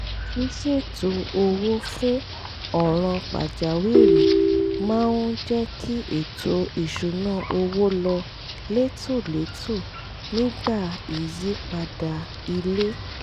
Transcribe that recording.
ṣíṣètò owó fún ọ̀ràn pàjáwìrì máa ń jẹ́ kí ètò ìṣúnná owó lọ létòlétò nígbà ìyípadà ilé